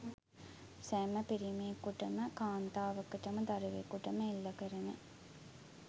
සෑම පිරිමියකුටම කාන්තාවකටම දරුවකුටම එල්ල කරන